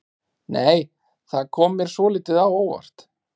Nei! Það kom mér svolítið á óvart!